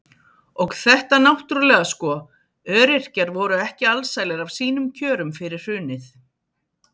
Og þetta náttúrulega sko, öryrkjar voru ekki alsælir af sínum kjörum fyrir hrunið.